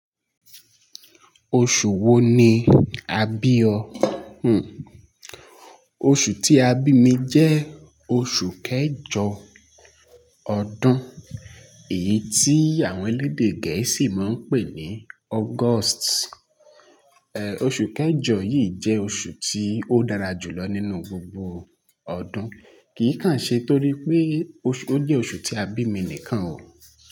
Oṣù wo ni a bí ọ? Oṣù tí a bí mi jẹ́ oṣù kẹjọ ọdún, èyí tí àwọn elédè gẹ̀ẹ́sì máa ń pè ní August. Oṣù kẹjọ yìí jẹ́ oṣù tí ó dára jùlọ nínú gbogbo ọdún, kì í kàn ṣe torí pé ó jẹ́ oṣù tí a bí mi nìkan o.